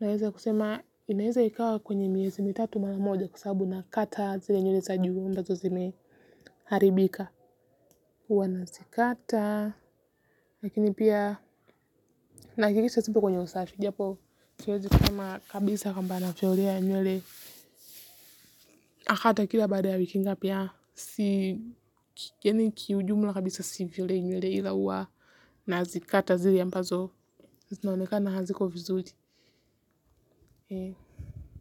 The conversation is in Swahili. naweza kusema inaeza ikawa kwenye miezi mitatu mara moja kwa sababu nakata zile nywele za juu ambazo zimeharibika. Huwa nazikata lakini pia nahakikisha sipo kwenye usafi japo siwezi sema kabisa kwamba natolea nywele. Na hata ikiwa baada ya wiki ngapi a. Si ki yaani kwa ujumula kabisa sivilei nyele ila huwa nazikata zile ambazo zinaoneka haziko vizuri.